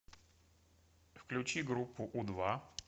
включи группу у два